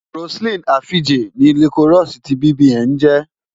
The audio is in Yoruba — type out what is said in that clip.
Roseline Afije ni Liquorose ti BBN ń jẹ́.